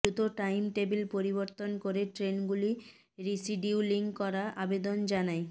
দ্রুত time table পরিবর্তন করে ট্রেনগুলি রিশিডিউলিং করার আবেদন জানাই